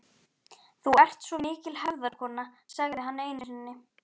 Þú ert svo mikil hefðarkona, sagði hann einu sinni.